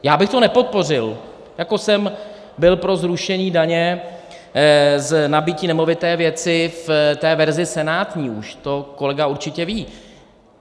Já bych to nepodpořil, jako jsem byl pro zrušení daně z nabytí nemovité věci v té verzi senátní už, to kolega určitě ví.